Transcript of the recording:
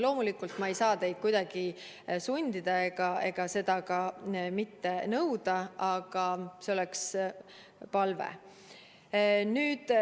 Loomulikult ma ei saa teid kuidagi sundida, seda nõuda, aga see on palve.